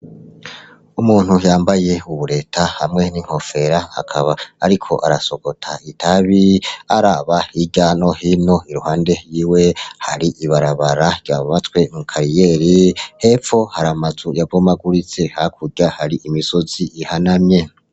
Umuntu yambaye uburengeti hamwe n'inkofero akaba ariko arasogota itabi araba hiryo no hino yiwe iruhande yiwe hari ibarabara ryubatswe muri kariyeri hepfo hari amazu y'abomaguritse hakurya hari imisozi ihanamye.